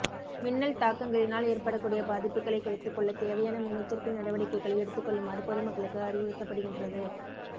மின்னல் தாக்கங்களினால் ஏற்படக்கூடிய பாதிப்புகளை குறைத்துக்கொள்ள தேவையான முன்னெச்சரிக்கை நடவடிக்கைகளை எடுத்துக் கொள்ளுமாறு பொதுமக்களுக்கு அறிவுறுத்தப்படுகின்றது